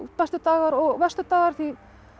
bestu dagar og verstu dagar því